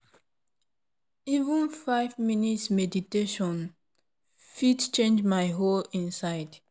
even five minutes meditation fit change my whole inside.